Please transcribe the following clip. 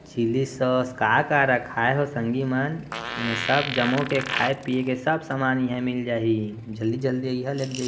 Chilli sauce काय काय रखाय हे हो संगिमान एमे सब जमा के खाय पिए के सब सामान यही मिल जाहि जल्दी जल्दी अहि लेगज।